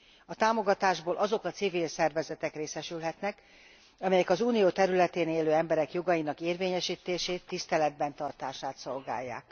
A támogatásból azok a civil szervezetek részesülhetnek, amelyek az Unió területén élő emberek jogainak érvényesítését, tiszteletben tartását szolgálják.